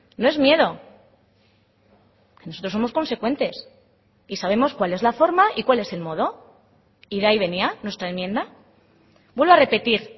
no es miedo nosotros somos consecuentes y sabemos cuál es la forma y cuál es el modo y de ahí venía nuestra enmienda vuelvo a repetir